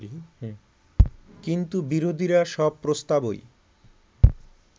কিন্তু বিরোধীরা সব প্রস্তাবই